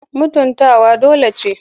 Mutuwa dole ce.